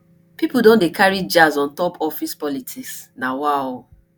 pipo don dey carry jazz on top office politics nawaoo